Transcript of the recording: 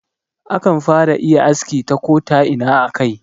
Akan fara iya aski ta Kota'ina a kai